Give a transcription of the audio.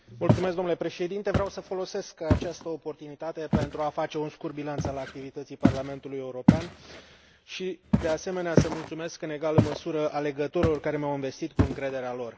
Domnule Președinte, vreau să folosesc această oportunitate pentru a face un scurt bilanț al activității Parlamentului European și, de asemenea, să mulțumesc în egală măsură alegătorilor, care m au învestit cu încrederea lor.